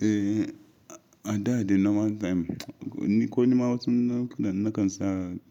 Eh, a da dai normal time, ko ni ma wasu nau'ukan nakan sa